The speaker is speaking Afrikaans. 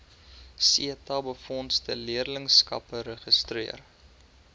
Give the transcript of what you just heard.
setabefondse leerlingskappe geregistreer